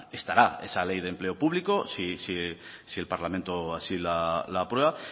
estará esa ley de empleo público si el parlamento así la aprueba